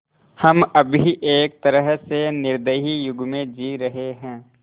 हम अभी एक तरह से निर्दयी युग में जी रहे हैं